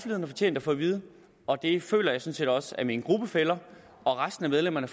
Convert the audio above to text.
har fortjent at få at vide og det føler jeg sådan set også at mine gruppefæller og resten af medlemmerne